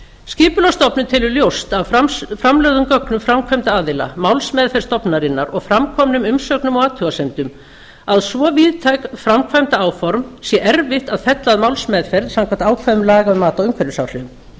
skipulagsstofnun telur ljóst af framlögðum gögnum framkvæmda aðila málsmeðferð stofnunarinnar og framkomnum umsögnum og athugasemdum að svo víðtæk framkvæmdaáform sé erfitt að fella að málsmeðferð samkvæmt ákvæðum laga um mat á umhverfisáhrifum